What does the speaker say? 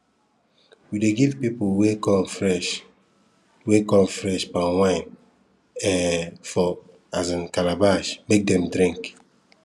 we um dey give people wey come fresh wey come fresh palm wine um for um calabash make dem drink